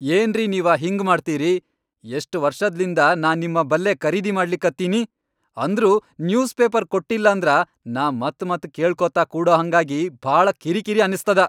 ಏನ್ರೀ ನೀವ ಹಿಂಗ ಮಾಡ್ತಿರಿ, ಎಷ್ಟ ವರ್ಷದ್ಲಿಂದ ನಾ ನಿಮ್ ಬಲ್ಲೇ ಖರೀದಿ ಮಾಡ್ಲಿಕತ್ತೀನಿ, ಅಂದ್ರೂ ನ್ಯೂಸ್ ಪೇಪರ್ ಕೊಟ್ಟಿಲ್ಲಾಂದ್ರ ನಾ ಮತ್ ಮತ್ ಕೇಳ್ಕೋತ ಕೂಡಹಂಗಾಗಿ ಭಾಳ ಕಿರಿಕಿರಿ ಅನಸ್ತದ.